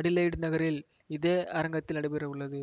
Adelaide நகரில் இதே அரங்கத்தில் நடைபெறவுள்ளது